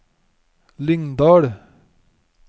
Lyngdal